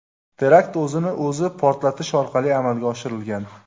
Terakt o‘zini o‘zi portlatish orqali amalga oshirilgan.